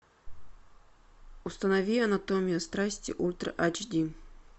установи анатомия страсти ультра ач ди